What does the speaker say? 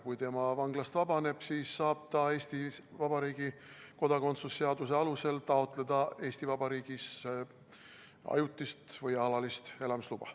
Kui ta vanglast vabaneb, siis saab ta Eesti Vabariigi kodakondsuse seaduse alusel taotleda Eesti Vabariigis ajutist või alalist elamisluba.